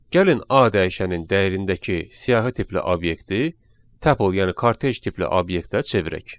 Gəlin A dəyişənin dəyərindəki siyahi tipli obyekti tuple, yəni kortej tipli obyektə çevirək.